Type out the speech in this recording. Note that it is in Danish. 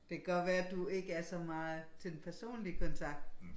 Det godt være du ikke er så meget til den personlige kontakt